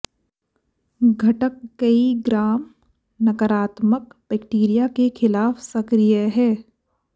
घटक कई ग्राम नकारात्मक बैक्टीरिया के खिलाफ सक्रिय है